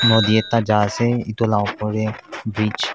nodi ekta jaase edu la opor tae bridge --